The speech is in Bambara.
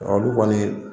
Olu kɔni